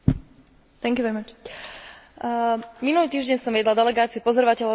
Minulý týždeň som viedla delegáciu pozorovateľov Európskeho parlamentu na parlamentných voľbách v Kirgizsku.